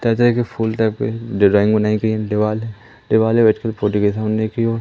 ताजा है कि फूल टाइप के डिजाइन बनाई गई हैं दीवाल है दीवाल पे बैठ के फोटो के सामने की ओर--